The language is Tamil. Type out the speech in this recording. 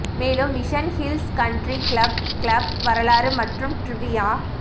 மேலும் Mission Hills Country Club club வரலாறு மற்றும் ட்ரிவியா